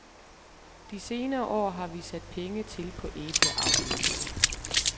De senere år har vi sat penge til på æbleavlen.